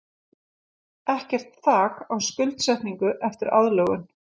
Ekkert þak á skuldsetningu eftir aðlögun